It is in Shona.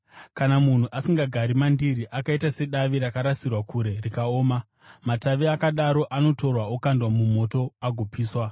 Kana munhu asingagari mandiri, akaita sedavi rakarasirwa kure rikaoma; matavi akadaro anotorwa, okandwa mumoto agopiswa.